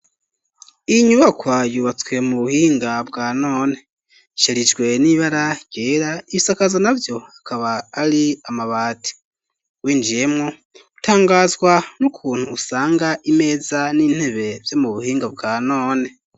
Iyi nyubakwa yubatswe mu buhinga bwa none, isharijwe n'ibara ryera ibisakazo navyo akaba ari amabati, winjiyemo utangazwa n'ukuntu usanga imeza n'intebe vyo mu buhinga bwa none.